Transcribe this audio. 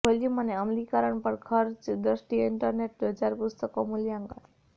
volume અને અમલીકરણ ખર્ચ દ્રષ્ટિએ ઇન્ટરનેટ બજાર પુસ્તકો મૂલ્યાંકન